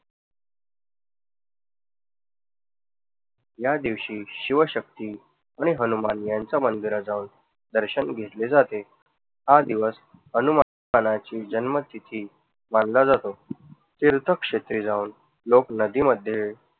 ह्या दिवशी शिवशक्ती आणि हनुमान यांच्या मंदिरात जाऊन दर्शन घेतले जाते. हा दिवस हनुमानाची जन्मतिथी मानला जातो. तीर्थक्षेत्री जाऊन लोक नदीमध्ये